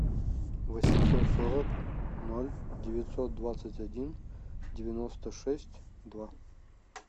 восемьсот сорок ноль девятьсот двадцать один девяносто шесть два